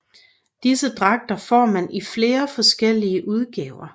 Disse dragter får man i flere forskellige udgaver